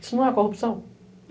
Isso não é corrupção?